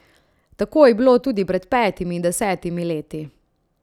Tako je bilo tudi pred petimi in desetimi leti.